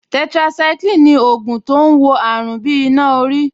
Tetracycline ni ògùn tó ń wo àrùn bí iná orí